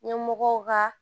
Ɲɛmɔgɔw ka